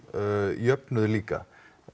jöfnuð líka